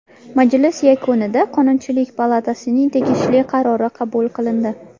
Majlis yakunida Qonunchilik palatasining tegishli qarori qabul qilindi.